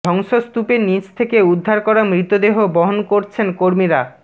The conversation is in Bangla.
ধ্বংসস্তুপের নিচ থেকে উদ্ধার করা মৃতদেহ বহন করছেন কর্মীরা